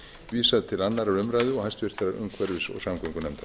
vísað á aðra umræðu og háttvirtrar umhverfis og samgöngunefndar